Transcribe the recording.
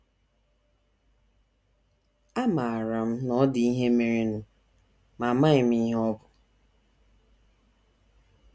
Amaara m na ọ dị ihe merenụ, ma amaghị m ihe ọ bụ.